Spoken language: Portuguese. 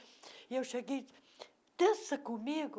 E eu cheguei e disse, dança comigo?